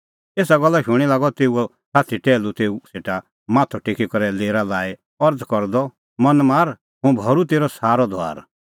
एसा गल्ला शूणीं लागअ तेऊओ साथी टैहलू तेऊ सेटा माथअ टेकी करै लेरा लाई अरज़ करदअ मन मार हुंह भरूं तेरअ सारअ धुआर